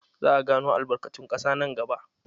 Za a gano albarkatun ƙasa nan gaba.